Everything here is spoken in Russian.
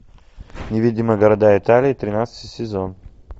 невидимые города италии тринадцатый сезон